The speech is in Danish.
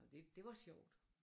Nåh det det var sjovt